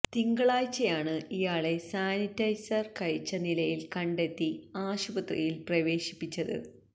തിങ്കളാഴ്ചയാണ് ഇയാളെ സാനിറ്റൈസര് കഴിച്ച നിലയില് കണ്ടെത്തി ആശുപത്രിയില് പ്രവേശിപ്പിച്ചത്